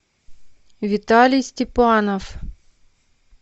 виталий степанов